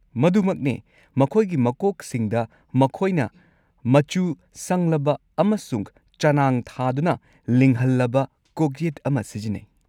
ꯃꯗꯨꯃꯛꯅꯤ! ꯃꯈꯣꯏꯒꯤ ꯃꯀꯣꯛꯁꯤꯡꯗ, ꯃꯈꯣꯏꯅ ꯃꯆꯨ ꯁꯪꯂꯕ ꯑꯃꯁꯨꯡ ꯆꯅꯥꯡ ꯊꯥꯗꯨꯅ ꯂꯤꯡꯍꯜꯂꯕ ꯀꯣꯛꯌꯦꯠ ꯑꯃ ꯁꯤꯖꯤꯟꯅꯩ꯫